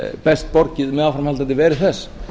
best borgið með áframhaldandi veru þess